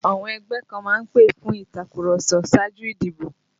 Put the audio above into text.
Àwọn ẹgbẹ́ kan má ń pè fún ìtàkurọ̀sọ ṣáájú ìdìbò